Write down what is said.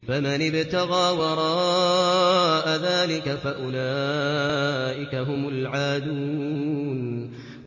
فَمَنِ ابْتَغَىٰ وَرَاءَ ذَٰلِكَ فَأُولَٰئِكَ هُمُ الْعَادُونَ